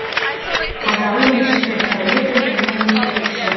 қазалы мешіті сәулет өнерінің ескерткіші